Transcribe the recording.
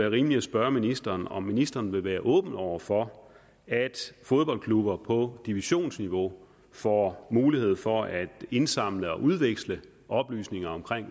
og rimeligt at spørge ministeren om ministeren vil være åben over for at fodboldklubber på divisionsniveau får mulighed for at indsamle og udveksle oplysninger om